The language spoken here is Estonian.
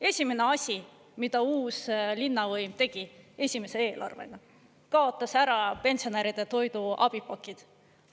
Esimene asi, mida uus linnavõim tegi esimese eelarvega, kaotas ära pensionäride toiduabipakid.